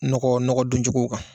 Nɔgɔ nɔgɔ don cogow kan.